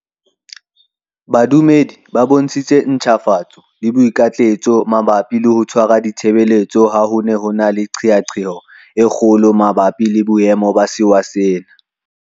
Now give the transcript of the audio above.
Badumedi ba bontshitse ntjhafatso le boikitlaetso mabapi le ho tshwara di tshebeletso ha ho ne ho na le qeaqeo e kgolo mabapi le boemo ba sewa sena.